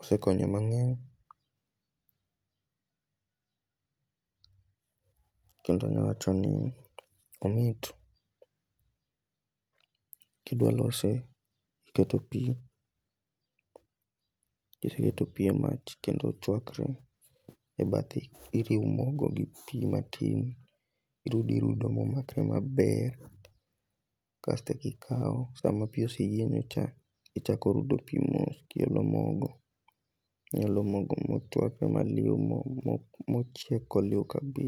Osekonyo mangeny kendo anya wachoni omit. Kidwa lose, iketo pii, kiseketo pii e mach kendo ochwakre, e bathe iriwo mogo gi pii atin irudo iruo momakre maber kasto ikaw sama pii oseyienyo cha ichako rudo pii mos kiolo mogo, iolo mogo motwak maliw ,mochieko nyuka gi?